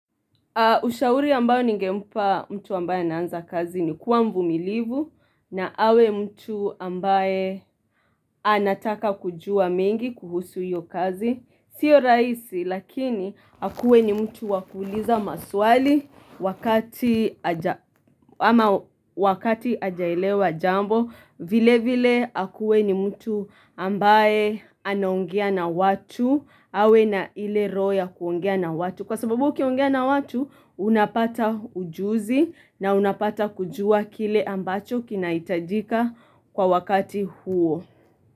Ushauri ambayo ningempa mtu ambaye anaanza kazi ni kuwa mvumilivu na awe mtu ambaye anataka kujua mengi kuhusu hiyo kazi. Sio rahisi lakini akuwe ni mtu wakuuliza maswali wakati hajaelewa jambo. Vile vile akuwe ni mtu ambaye anaongea na watu, awe na ile roho ya kuongea na watu. Kwa sababu ukiongea na watu, unapata ujuzi na unapata kujua kile ambacho kinahitajika kwa wakati huo.